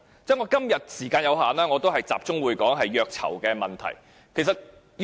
由於我今天時間有限，我會集中就虐囚問題發言。